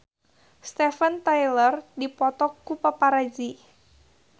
Steven Tyler dipoto ku paparazi